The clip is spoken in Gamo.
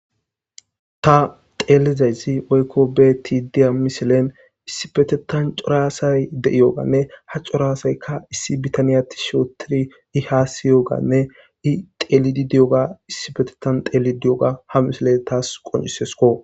ta teelizayzi woykko beti diya misilen issibetetan coraasay deiyooganne ha coraasayka issi bitaniyatti shootiri i ha siyooganne i telidi diyoga issibetetan teli di7oga ha misile taas qoncisesko